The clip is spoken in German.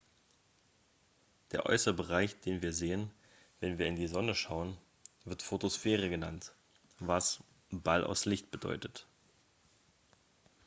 "der äußere bereich den wir sehen wenn wir in die sonne schauen wird photosphäre genannt was "ball aus licht" bedeutet.